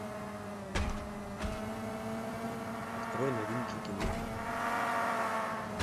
открой новинки кино